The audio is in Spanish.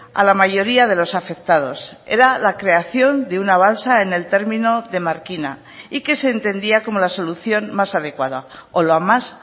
a la mayoría de los afectados era la creación de una balsa en el término de markina y que se entendía como la solución más adecuada o la más